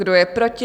Kdo je proti?